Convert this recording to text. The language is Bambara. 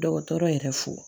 Dɔgɔtɔrɔ yɛrɛ fo